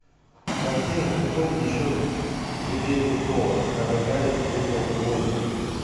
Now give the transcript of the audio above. картина тупой и еще тупее тупого когда гарри встретил ллойда